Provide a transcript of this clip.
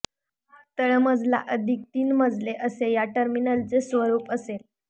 तळमजला अधिक तीन मजले असे या टर्मिनलचे स्वरूप असेल